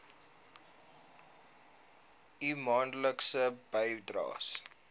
u maandelikse bydraes